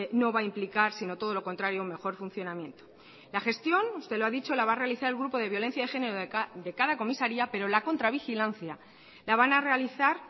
no va a implicar sino todo lo contrario mejor funcionamiento la gestión usted lo ha dicho la va a realizar el grupo de violencia de género de cada comisaría pero la contravigilancia la van a realizar